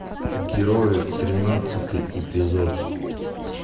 герои тринадцатый эпизод